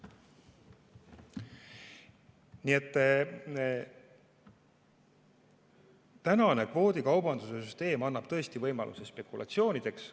Nii et tänane kvoodikaubanduse süsteem annab tõesti võimaluse spekulatsioonideks.